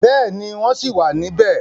Bẹ́ẹ̀ni, wọ́n ṣì wà níbẹ̀.